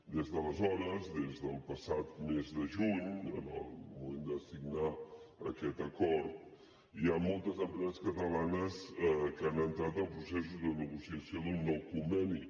des d’aleshores des del passat mes de juny en el moment de signar aquest acord hi ha moltes empreses catalanes que han entrat en processos de negociació d’un nou conveni